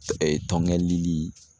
Ee tɔnkɛ lili